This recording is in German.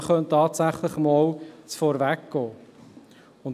Man könnte aber tatsächlich einmal vorausgehen.